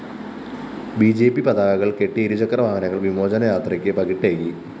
B J P പതാകകള്‍ കെട്ടിയ ഇരുചക്രവാഹനങ്ങള്‍ വിമോചന യാത്രയ്ക്ക് പകിട്ടേകി